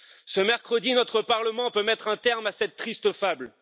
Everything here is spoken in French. Ce mercredi, notre Parlement peut mettre un terme à cette triste fable.